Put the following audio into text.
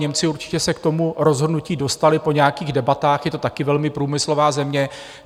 Němci určitě se k tomu rozhodnutí dostali po nějakých debatách, je to taky velmi průmyslová země.